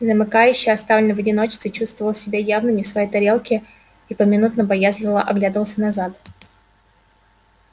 замыкающий оставленный в одиночестве чувствовал себя явно не в своей тарелке и поминутно боязливо оглядывался назад